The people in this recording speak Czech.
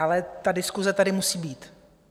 Ale ta diskuse tady musí být!